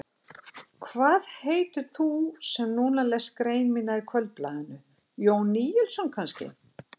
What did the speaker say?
Hvað heitir þú sem núna lest grein mína í Kvöldblaðinu, Jón Níelsson kannski?